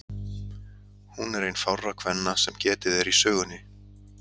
Hún er ein fárra kvenna sem getið er í sögunni.